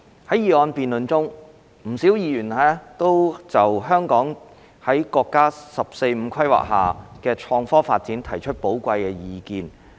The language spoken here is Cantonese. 在議案辯論中，不少議員就香港在國家"十四五"規劃下的創科發展提出寶貴意見。